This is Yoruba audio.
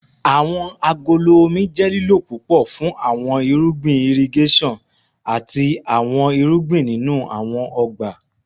Awọn agolo omi jẹ lilo pupọ fun awọn irugbin irigeson ati awọn irugbin ninu awọn ọgba